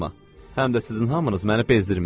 Həm də sizin hamınız məni bezdirmisiz.